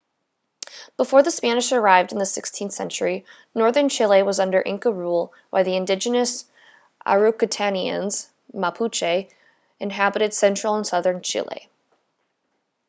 before the spanish arrived in the 16th century northern chile was under inca rule while the indigenous araucanians mapuche inhabited central and southern chile